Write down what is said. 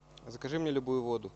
закажи мне любую воду